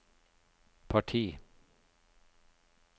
parti